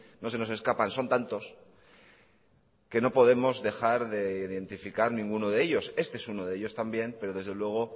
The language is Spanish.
no se nos escapan son tantos que no podemos dejar de identificar ninguno de ellos este es uno de ellos también pero desde luego